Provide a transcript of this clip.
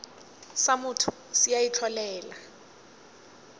sa motho se a itlholela